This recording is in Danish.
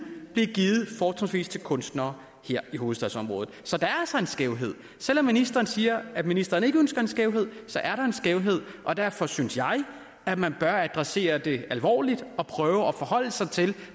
bliver givet fortrinsvis til kunstnere her i hovedstadsområdet så der er altså en skævhed selv om ministeren siger at ministeren ikke ønsker en skævhed så er der en skævhed og derfor synes jeg at man bør adressere det alvorligt og prøve at forholde sig til